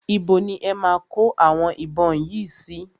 Ibo ni e máa kó àwọn ìbọn yìí sí?